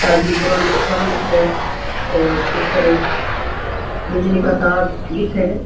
Side में पुराना मकान दिख रहा है और ऊपर बिजली का तार दिखे है।